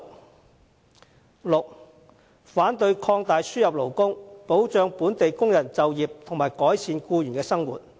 第六，反對擴大輸入勞工，保障本地工人就業及改善僱員的生活。